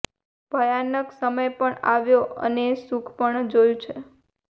ભયાનક સમય પણ આવ્યો અને સુખ પણ જોયુ છે